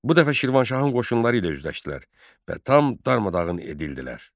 Bu dəfə Şirvanşahın qoşunları ilə üzləşdilər və tam darmadağın edildilər.